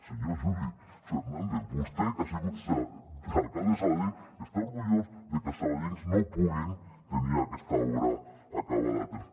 senyor juli fernàndez vostè que ha sigut alcalde de sabadell està orgullós de que els sabadellencs no puguin tenir aquesta obra acabada a temps